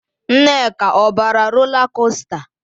Nneka, ọ bara rola kosta?